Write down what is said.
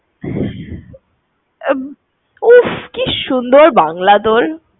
উফ, কি সুন্দর বাংলা বল?